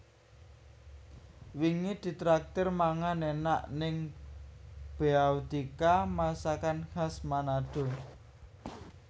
Wingi ditraktir mangan enak ning Beautika Masakan Khas Manado